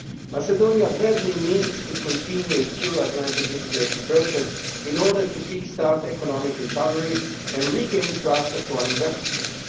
Macedonia badly needs to continue its Euro Atlantic integration process in order to kick start economic recovery and regain the trust of foreign investors.